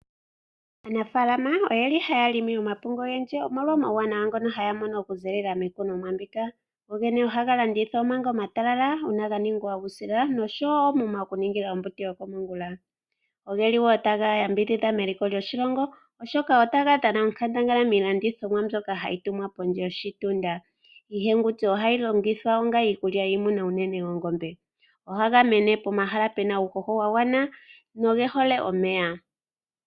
Aanafalama oyeli haya longo omapungu ogendji, omolwa omawunawa ngoka haya mono okuziilila miikunomwa mbika, ogeli haga landithwa manga omatalala, uuna ga ningwa uusila nosho wo uuna ga ningilwa ombuto yokomongula. Ogeli taga ya mbidhidha meliko lyoshilongo, oshoka otaga dhana onkandangala miilandithomwa mbyoka hayi tumwa kondje yoshitunda. Iihenguti ohayi longithwa onga iikulya yiimuna uunene oongombe. Ohaga mene pomahala puna uuhoho wa gwana na oge hole omeya .